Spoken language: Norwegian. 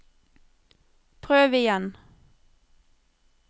prøv igjen